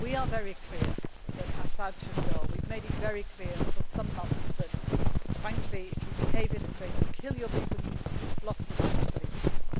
to do. We are very clear that al Assad should go. We have made it very clear for some months that, frankly, if you behave in this way, if you kill your people, you have lost the rights for leadership.